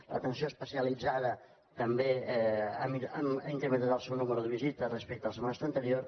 l’atenció especialitzada també ha incrementat el seu nombre de visites respecte al semestre anterior